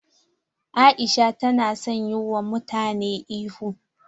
Aisha ta na son yi wa mutane ihu.